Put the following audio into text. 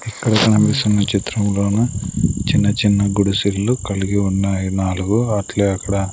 ఇక్కడ కనిపిస్తున్న చిత్రం లోనూ చిన్న చిన్న గుడి సిల్లు కలిగి ఉన్నాయి నాలుగు అట్లే అక్కడ.